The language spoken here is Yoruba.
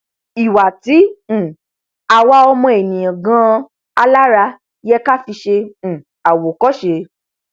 ìwà tí um àwa ọmọ ènìà ganan alára yẹ ká fi ṣe um àwòkọṣe